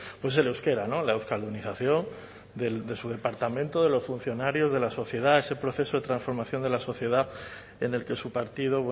pues el euskera la euskaldunización de su departamento de los funcionarios de la sociedad ese proceso de transformación de la sociedad en el que su partido